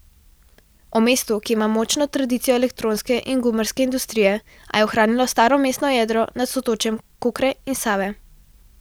O mestu, ki ima močno tradicijo elektronske in gumarske industrije, a je ohranilo staro mestno jedro nad sotočjem Kokre in Save.